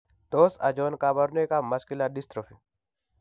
Tos achon kabarunaik ab Muscular dystrophy?